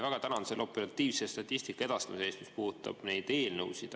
Väga tänan selle operatiivse statistika edastamise eest, mis puudutab neid eelnõusid.